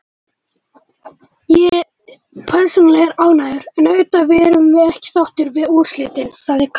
Ég persónulega er ánægður, en auðvitað erum við ekki sáttir við úrslitin, sagði Kaka.